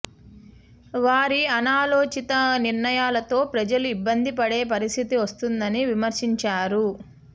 వారి అనాలోచిత నిర్ణయాలతో ప్రజలు ఇబ్బంది పడే పరిస్థితి వస్తోందని విమర్శించారు